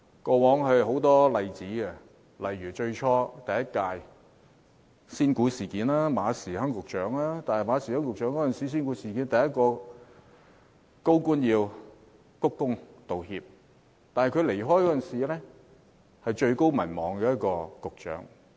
過往有很多例子，例如第一屆特區政府的"仙股事件"，馬時亨局長是第一個鞠躬道歉的高官，但他離任時是民望最高的一位局長。